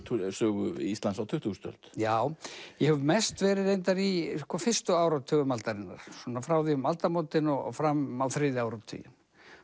sögu Íslands á tuttugustu öld já ég hef mest verið reyndar í fyrstu áratugum aldarinnar svona frá því um aldamótin og fram á þriðja áratuginn